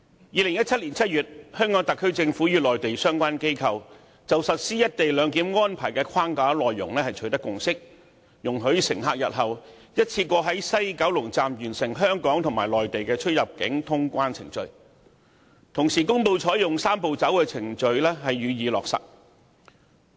2017年7月，香港特區政府與內地相關部門就實施"一地兩檢"安排的框架內容取得共識，容許乘客日後一次過在西九龍站完成香港和內地的出入境通關程序，並公布依據"三步走"程序予以落實。